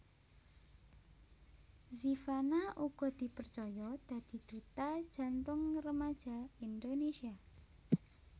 Zivanna uga dipercaya dadi duta Jantung Remaja Indonésia